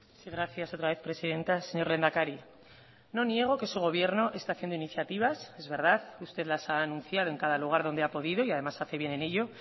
sí gracias otra vez presidenta señor lehendakari no niego que su gobierno está haciendo iniciativas es verdad usted las ha anunciado en cada lugar donde ha podido y además hace bien en ello